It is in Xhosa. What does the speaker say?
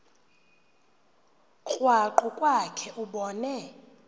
krwaqu kwakhe ubone